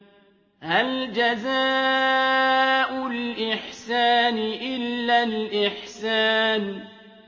هَلْ جَزَاءُ الْإِحْسَانِ إِلَّا الْإِحْسَانُ